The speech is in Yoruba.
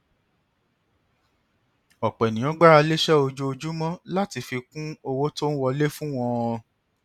ọpọ èèyàn gbára lé iṣẹ ojoojúmọ láti fi kún owó tó ń wọlé fún wọn